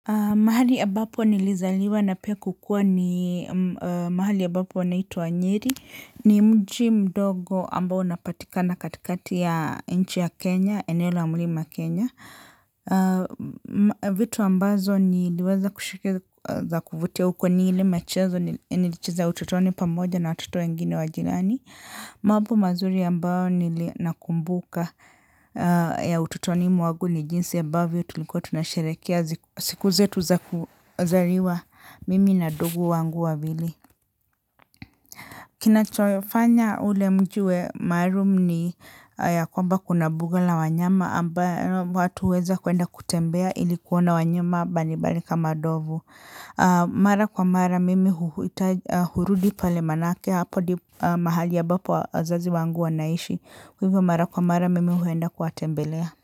Mahali ambapo nilizaliwa na pia kukua ni mahali ambapo panaitwa nyeri. Ni mji mdogo ambao unapatikana katikati ya nchi ya Kenya, eneo la mlima Kenya. Vitu ambazo niliweza kushika za kuvutia huko ni ili michezo nilichiza ututoni pamoja na watoto wengine wa jirani. Mambo mazuri ambao nakumbuka ya utotoni mwangu ni jinsi ambavyo tulikuwa tunasherekea siku zetu za kuzaliwa mimi na ndugu wangu wawili. Kinachoifanya ule mji uwe maalum ni ya kwamba kuna mbuga la wanyama ambayo watu huweza kuenda kutembea ili kuona wanyama mbalimbali kama ndovu. Mara kwa mara mimi hurudi pale manake hapo ndipo mahali ambapo wazazi wangu wanaishi hivyo mara kwa mara mimi huenda kuwatembelea.